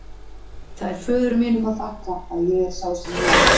Það er föður mínum að þakka að ég er sá sem ég er.